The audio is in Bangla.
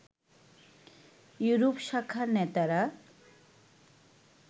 ইউরোপ শাখার নেতারা